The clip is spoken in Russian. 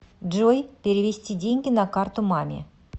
джой перевести деньги на карту маме